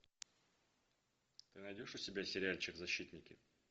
ты найдешь у себя сериальчик защитники